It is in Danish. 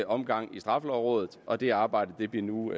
omgang i straffelovrådet og det arbejde bliver nu